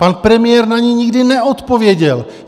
Pan premiér na ni nikdy neodpověděl.